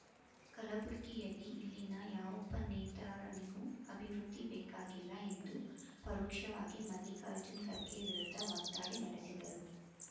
ಕಲಬುರಗಿಯಲ್ಲಿ ಇಲ್ಲಿನ ಯಾವೊಬ್ಬ ನೇತಾರನಿಗೂ ಅಭಿವೃದ್ಧಿ ಬೇಕಾಗಿಲ್ಲ ಎಂದು ಪರೋಕ್ಷವಾಗಿ ಮಲ್ಲಿಕಾರ್ಜುನ್ ಖರ್ಗೆ ವಿರುದ್ಧ ವಾಗ್ದಾಳಿ ನಡೆಸಿದರು